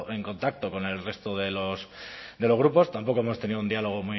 en contacto con el resto de los grupos tampoco hemos tenido un diálogo